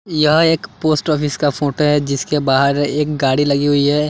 यह एक post office का फोटो है जिसके बाहर एक गाड़ी लगी हुई है।